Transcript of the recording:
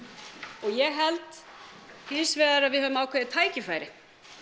og ég held hins vegar að við höfum ákveðið tækifæri